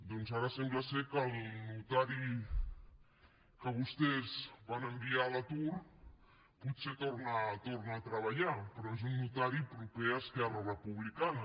doncs ara sembla que el notari que vostès van enviar a l’atur potser torna a treballar però és un notari proper a esquerra republicana